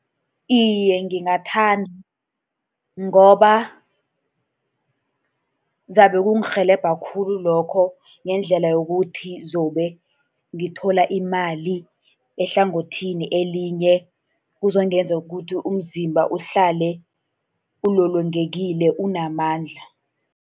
Iye, ngingathanda. Ngoba kuzabe kungirhelebha khulu lokho, ngendlela yokuthi zabe ngithola imali, ehlangothini elinye kuzongenza ukuthi umzimba uhlale ulolongekile, unamandla.